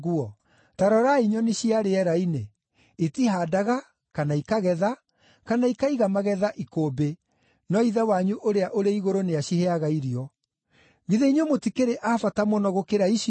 Ta rorai nyoni cia rĩera-inĩ; itihaandaga, kana ikagetha, kana ikaiga magetha ikũmbĩ, no Ithe wanyu ũrĩa ũrĩ Igũrũ nĩaciheaga irio. Githĩ inyuĩ mũtikĩrĩ a bata mũno gũkĩra icio?